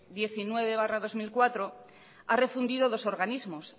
decreto diecinueve barra dos mil cuatro ha refundido dos organismos